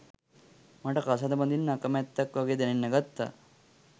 මට කසාද බඳින්න අකමැත්තක් වගේ දැනෙන්න ගත්තා